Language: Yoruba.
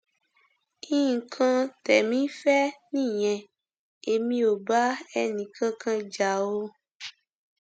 nǹkan tẹmí fẹ nìyẹn èmi ò bá ẹnìkankan jà o